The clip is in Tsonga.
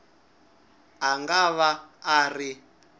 a nga va a ri